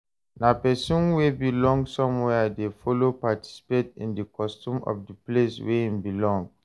Na persin wey belong somewhere de follow participate in di custom of di place wey im belong